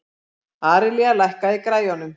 Aríella, lækkaðu í græjunum.